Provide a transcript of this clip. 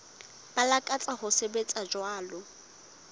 ba lakatsang ho sebetsa jwalo